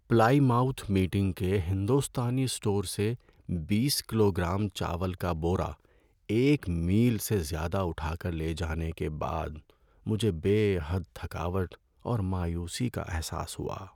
پلائی mouth meeting کے ہندوستانی store سے بیس کلو گرام چاول کا بورا ایک میل سے زیادہ اٹھا کر لے جانے کے بعد مجھے بے حد تھکاوٹ اور مایوسی کا احساس ہوا۔